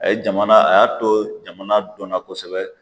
A ye jamana a y'a to jamana dɔnna kosɛbɛ.